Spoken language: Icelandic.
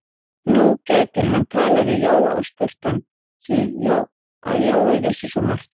Nú gæti hann talað við Jóa og spurt hann, því að Jói vissi svo margt.